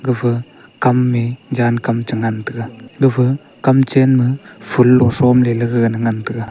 gapha kamme jangkam chengan taiga gapha kam chenma phoolo throm leley ngan taiga.